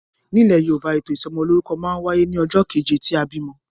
Nilè Yorùbá, ètò ìsomolórúkọ ma n wáyé ní ojó keje tí a bìmo